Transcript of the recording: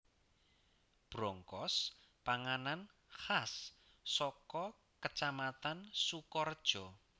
Brongkos panganan khas saka Kacamatan Sukorejo